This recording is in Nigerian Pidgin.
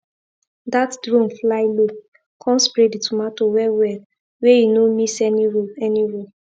that drone fly low come spray the tomato well well wey e no miss any row any row